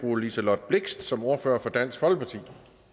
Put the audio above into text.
fru liselott blixt som ordfører for dansk folkeparti